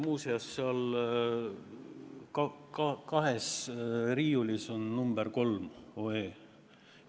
Muuseas, seal riiulis on eelnõu nr 3 olemas.